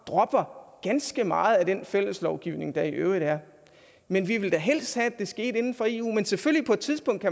dropper ganske meget af den fælles lovgivning der i øvrigt er men vi ville da helst have at det skete inden for eu men selvfølgelig på et tidspunkt